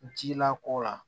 Jilako la